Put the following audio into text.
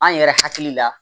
An yɛrɛ hakili la